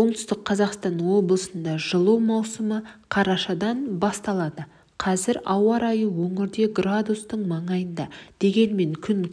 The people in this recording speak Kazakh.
оңтүстік қазақстан облысында жылу маусымы қарашадан басталады қазір ауа райы өңірде градустың маңайында дегенмен күн